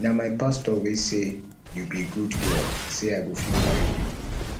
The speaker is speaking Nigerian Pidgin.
na my pastor wey say you be good girl say i go fit marry you